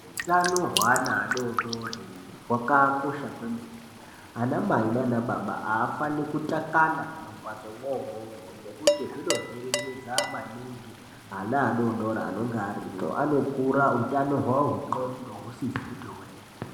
Hutano hweana adodori hwakakosha kwemene ana mai nanababa haafani kutakana mumamhatso mwomwo-mwo. Ngekuti zvinovhiringidza maningi ana adodori anenge arimwo anokura hutano hwavo hwendxondo husizi kuti hwee.